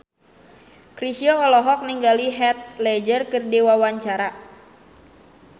Chrisye olohok ningali Heath Ledger keur diwawancara